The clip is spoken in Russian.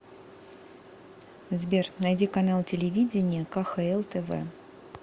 сбер найди канал телевидения кхл тв